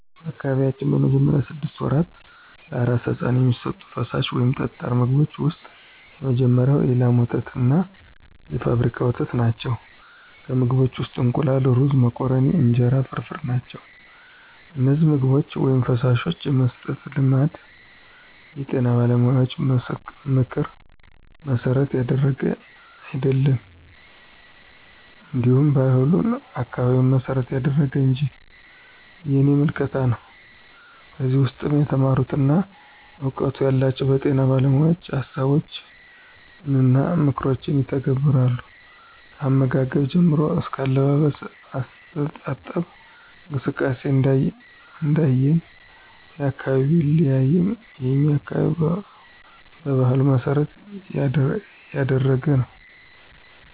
በአካባቢያችን በመጀመሪያዎቹ ስድስት ወራት ለአራስ ሕፃን የሚሰጡት ፈሳሽ ወይም ጠጣር ምግቦች ውስጥ የመጀመሪያው የላም ወተትና የፋብሪካ ወተት ናቸው፣ ከምግቦችም ውስጥ እንቁላል፣ ሩዞች፣ መኮረኒ፣ እንጀራ ፍርፍር ናቸው። እነዚህን ምግቦች/ፈሳሾች የመስጠት ልማድ የጤና ባለሙያዎችን ምክር መሠረት ያደረገ አይደለም እንዲሁ ባህሉን፣ አካባቢውን መሰረት ያደረገ እንጅ የኔ ምልከታ ነው። ከዚህ ውስም የተማሩና እውቀቱ ያላቸው በጤና ባለሞያዎችን ሀሳቦችንና ምክሮችን ይተገብራሉ። ከአመጋገብ ጀምሮ አስከ አለባበስ፣ አስተጣጠብ እንክብካቤ እንደየ አካባቢው ቢለያይም የኛ አካባቢ በባህሉ መሰረት ያደረገ ነው።